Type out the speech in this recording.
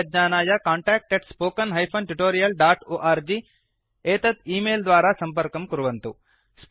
अधिकज्ञानाय contactspoken tutorialorg एतत् email द्वारा सम्पर्कं कुर्वन्तु